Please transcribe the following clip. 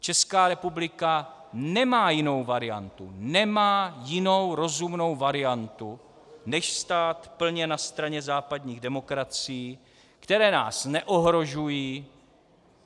Česká republika nemá jinou variantu, nemá jinou rozumnou variantu než stát plně na straně západních demokracií, které nás neohrožují.